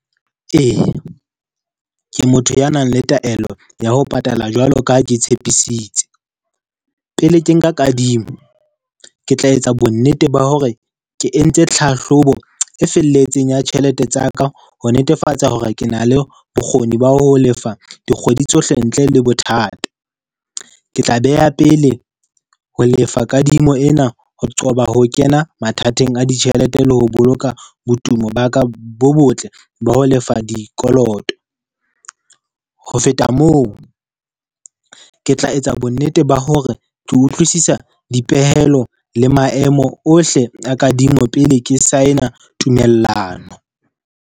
Ee, ke motho ya nang le taelo ya ho patala jwalo ka ha ke tshepisitse. Pele ke nka kadimo, ke tla etsa bonnete ba hore ke entse tlhahlobo e felletseng ya tjhelete tsa ka ho netefatsa hore ke na le bokgoni ba ho lefa dikgwedi tsohle ntle le bothata. Ke tla beha pele ho lefa kadimo ena ho qoba ho kena mathateng a ditjhelete le ho boloka botumo ba ka bo botle ba ho lefa dikoloto. Ho feta moo, ke tla etsa bonnete ba hore ke utlwisisa dipehelo le maemo ohle a kadimo pele ke sign-a tumellano.